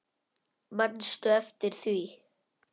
Manstu eftir því?